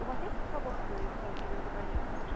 у вас есть свободные столики или забронировать лучше